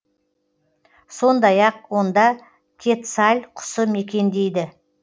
сондай ақ онда кетсаль құсы мекендейді